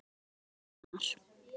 Þinn sonur Gunnar.